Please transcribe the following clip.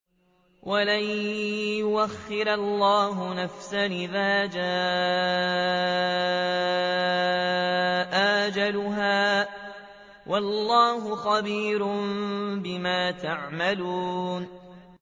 وَلَن يُؤَخِّرَ اللَّهُ نَفْسًا إِذَا جَاءَ أَجَلُهَا ۚ وَاللَّهُ خَبِيرٌ بِمَا تَعْمَلُونَ